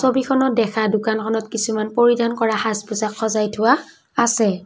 ছবিখনত দেখা দোকানখনত কিছুমান পৰিধান কৰা সাজপোছাক সজাই থোৱা আছে।